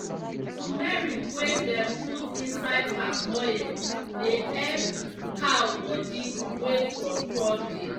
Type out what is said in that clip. tumeric wey dem pur inside palm oil dey epp cow bodi wey kro kro dey.